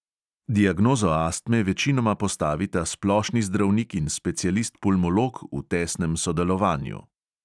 Diagnozo astme večinoma postavita splošni zdravnik in specialist pulmolog v tesnem sodelovanju.